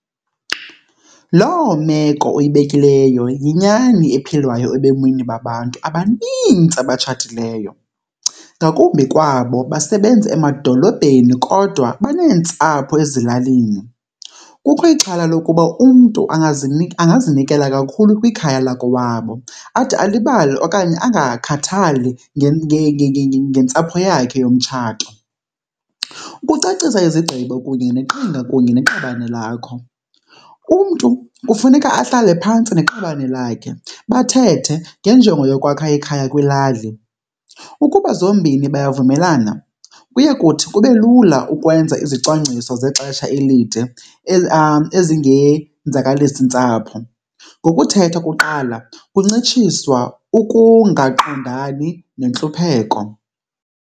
Loo meko uyibekileyo yinyani ephilwayo ebomini babantu abanintsi abatshatileyo, ngakumbi kwabo basebenza emadolobheni kodwa baneentsapho ezilalini. Kukho ixhala lokuba umntu angazinikela kakhulu kwikhaya lakowabo ade alibale okanye angakhathali ngentsapho yakhe yomtshato. Ukucacisa izigqibo kunye neqhinga kunye neqabane lakho, umntu kufuneka ahlale phantsi neqabane lakhe bathethe ngenjongo yokwakha ikhaya kwilali. Ukuba zombini bayavumelana kuye kuthi kube lula ukwenza izicwangciso zexesha elide ezingenzakalisi ntsapho. Ngokuthetha kuqala ukuncitshiswa ukungaqondani nentlupheko.